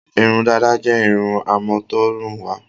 Irun dàda jẹ́ irun àmútọ̀runwá.